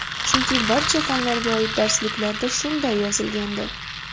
Chunki barcha fanlarga oid darsliklarda shunday yozilgandi.